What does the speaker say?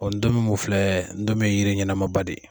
Ɔ ntomi min filɛ ntomi ye yiri ɲɛnɛmanba de ye